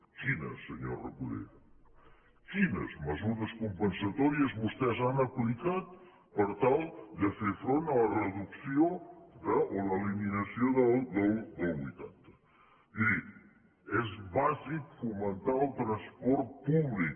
quines senyor recoder quines mesures compensatòries vostès han aplicat per tal de fer front a la reducció o a l’eliminació del vuitanta miri és bàsic fomentar el transport públic